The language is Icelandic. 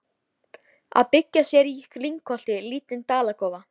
Að byggja sér í lyngholti lítinn dalakofa.